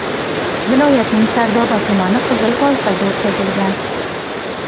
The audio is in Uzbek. Viloyatning Sardoba tumani qizil toifaga o‘tkazilgan.